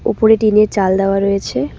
ওপরে টিনের চাল দেওয়া রয়েছে।